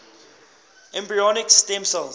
embryonic stem cell